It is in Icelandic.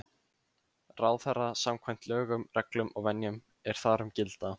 ráðherra samkvæmt lögum, reglum og venjum, er þar um gilda.